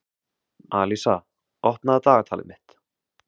Alísa, opnaðu dagatalið mitt.